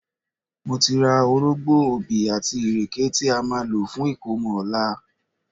Mo ti ra orógbó, obì àti ìrèké tí a máa lò fún ìkómọ ọ̀la